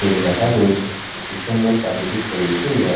বেঁধে রাখা রয়েছে একটি সুন্দর প্রাকৃতিক পরিবেশের উদাহরণ।